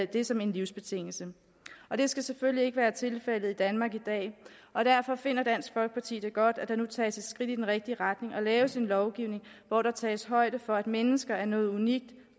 det som en livsbetingelse det skal selvfølgelig ikke være tilfældet i danmark i dag og derfor finder dansk folkeparti det godt at der nu tages et skridt i den rigtige retning og laves en lovgivning hvor der tages højde for at mennesker er noget unikt